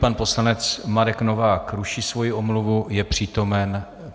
Pan poslanec Marek Novák ruší svoji omluvu, je přítomen.